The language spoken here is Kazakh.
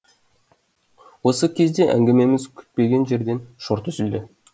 осы кезде әңгімеміз күтпеген жерден шорт үзілді